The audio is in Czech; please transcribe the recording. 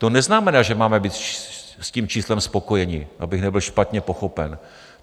To neznamená, že máme být s tím číslem spokojení, abych nebyl špatně pochopen.